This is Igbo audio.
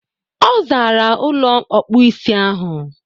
Ọ zaara ụlọ ọkpụisi ahụ.